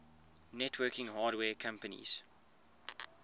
networking hardware companies